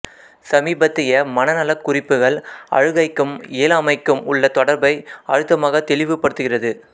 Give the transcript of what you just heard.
சமீபத்திய மனநலக் குறிப்புகள் அழுகைக்கும் இயலாமைக்கும் உள்ள தொடர்பை அழுத்தமாக தெளிவு படுத்துகிறது